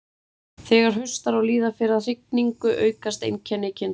Þegar haustar og líða fer að hrygningu aukast einkenni kynþroskans.